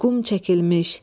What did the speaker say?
Uyğum çəkilmiş.